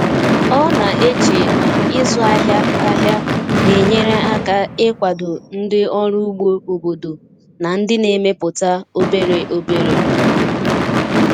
Ọ na-eche na ịzụ ahịa ahịa na-enyere aka ịkwado ndị ọrụ ugbo obodo na ndị na-emepụta obere obere.